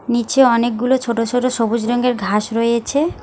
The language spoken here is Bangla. নীচে অনেকগুলো ছোট ছোট সবুজ রঙের ঘাস রয়েছে।